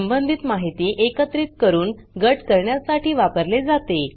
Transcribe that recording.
संबंधित माहिती एकत्रित करून गट करण्यासाठी वापरले जाते